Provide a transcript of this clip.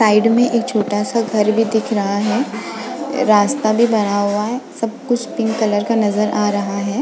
Side में एक छोटा सा घर भी दिख रहा है रास्ता भी बना हुआ है सब कुछ पिंक कलर का नजर आ रहा है।